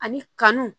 Ani kanu